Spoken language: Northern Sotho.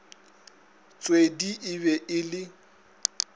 tshwedi e be e le